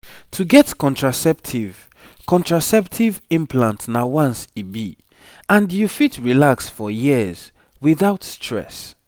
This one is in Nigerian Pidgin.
to get contraceptive contraceptive implant na once e be and you fit relax for years without stress